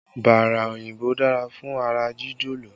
Bára òyìnbó dára fún ara jíjọ̀lọ̀